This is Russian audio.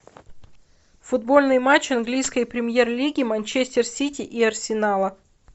футбольный матч английской премьер лиги манчестер сити и арсенала